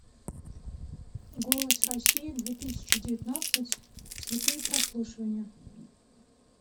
голос россии две тысячи девятнадцать слепые прослушивания